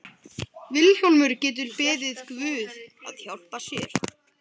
Vilhjálmur getur beðið guð að hjálpa sér.